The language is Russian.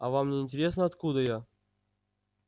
а вам не интересно откуда я